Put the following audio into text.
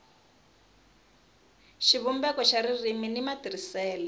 xivumbeko xa ririmi ni matirhisele